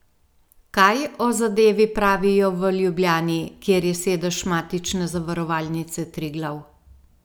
Kaj o zadevi pravijo v Ljubljani, kjer je sedež matične Zavarovalnice Triglav?